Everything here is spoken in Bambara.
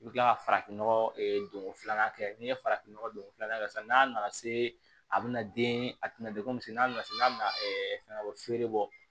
I bɛ kila ka farafinnɔgɔ don ko filanan kɛ n'i ye farafin nɔgɔ donko filanan kɛ sisan n'a nana se a bɛna den a tɛna degun misɛnninw na n'a bɛna fɛn bɔ feere bɔ